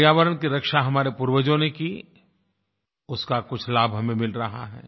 पर्यावरण की रक्षा हमारे पूर्वजों ने की उसका कुछ लाभ हमें मिल रहा है